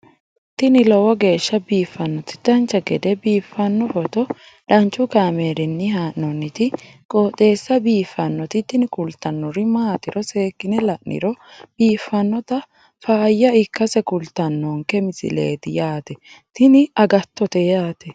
tini lowo geeshsha biiffannoti dancha gede biiffanno footo danchu kaameerinni haa'noonniti qooxeessa biiffannoti tini kultannori maatiro seekkine la'niro biiffannota faayya ikkase kultannoke misileeti yaate tini agattote yaate